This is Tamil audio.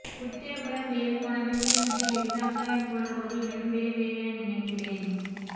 உருத்திரபுரம் வேறு கோணாவில் கிளிநொச்சியிலிருந்து அக்கராயன் போற பகுதி இரண்டும் வேறு வேறு என நினைக்கிறன்